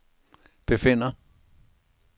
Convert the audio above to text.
befinder